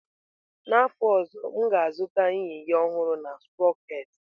N'afọ ọzọ m ga-azụta yinye ọhụrụ na sproketị.